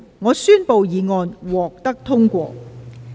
我宣布議案獲得通過。